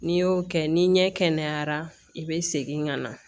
N'i y'o kɛ ni ɲɛ kɛnɛyara i bɛ segin ka na